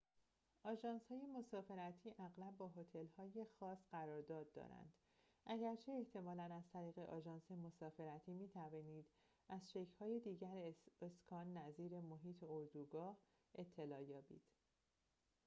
آژانس‌های مسافرتی اغلب با هتل‌های خاص قرارداد دارند اگرچه احتمالاً از طریق آژانس مسافرتی می‌توانید از شکل‌های دیگر اسکان نظیر محیط اردوگاه اطلاع یابید